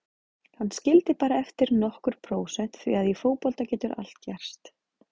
Hann skildi bara eftir nokkur prósent því að í fótbolta getur allt gerst.